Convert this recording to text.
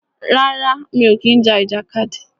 Rárá, mi ò kí ń ja ìjàkadì.